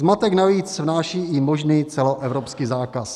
Zmatek navíc vnáší i možný celoevropský zákaz.